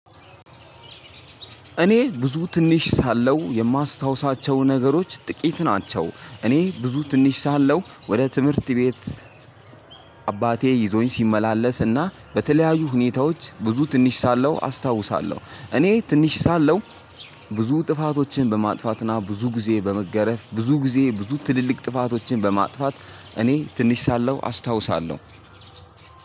እኔ ብዙ ትንሽ ሳለው የማስታውሳቸው ነገሮች ጥቂት ናቸው እኔ ብዙ ትንሽ ሳለሁ ወደ ትምህርት ቤት አባቴ ይዞኝ ሲመላለስና በተለያዩ ሁኔታዎች ብዙ ትንሽ ሳለው አስታውሳለሁ። እኔ ትንሽ ሳለው ብዙ ጥፋቶችን በማጥፋትና ብዙ ጊዜ በመገረፍ ብዙ ጊዜ ብዙ ትልልቅ ጥፋቶችን በማጥፋት እኔ ትንሽ ሳለሁ አስታውሳለሁ።